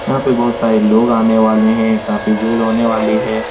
यहाँ पे बहुत सारे लोग आने वाले हैं। काफी भीड़ होने वाली है।